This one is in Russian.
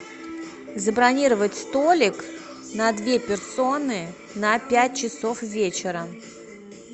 забронировать столик на две персоны на пять часов вечера